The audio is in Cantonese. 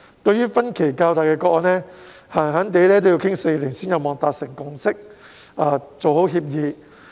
對於分歧較大的個案，動輒要討論4年才有望達成共識和協議。